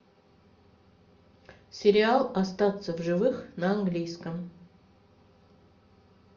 сериал остаться в живых на английском